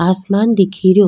आसमान दिख रयो।